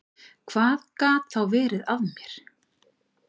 Hvað gat þá verið að mér?